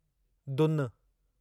दुनु